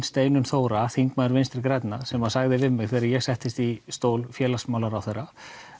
Steinunn Þóra þingmaður Vinstri grænna sem sagði við mig þegar ég settist í stól félagsmálaráðherra